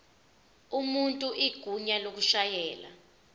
umuntu igunya lokushayela